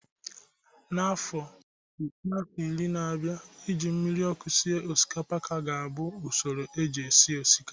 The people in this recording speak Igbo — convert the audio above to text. N'ime afọ iri na-abịa, ị ji mmiri ọkụ sịe osikapa kaa ga-abụ usoro eji esi osikapa